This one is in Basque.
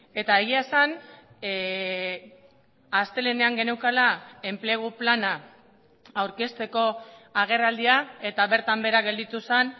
eta egia esan astelehenean geneukala enplegu plana aurkezteko agerraldia eta bertan behera gelditu zen